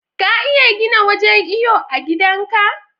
ka iya gina wajan iyo a gidan ka